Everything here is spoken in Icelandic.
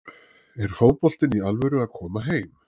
Er fótboltinn í alvöru að koma heim?